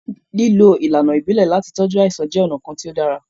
Lílo ìlànà ibile láti tọju àìsàn jẹ ọ̀nà kan tí ó dára